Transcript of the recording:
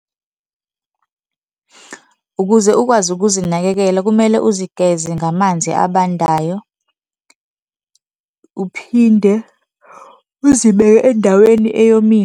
Ukuze ukwazi ukuzinakekela kumele uzigeze ngamanzi abandayo, uphinde uzibeke endaweni eyomile.